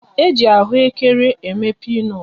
E ji ahụekere eme pinut